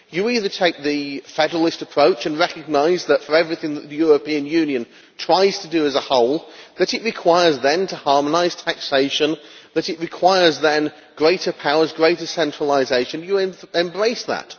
You either take the federalist approach and recognise that, for everything that the European Union tries to do as a whole, it requires then to harmonise taxation, it requires then greater powers, greater centralisation, and you embrace that.